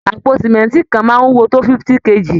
Àpò símẹ́ǹtì kan máa ń wúwo tó 50 kg